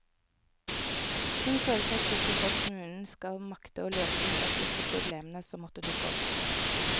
Hun føler seg sikker på at kommunen skal makte å løse de praktiske problemene som måtte dukke opp.